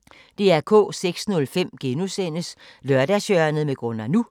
06:05: Lørdagshjørnet med Gunnar NU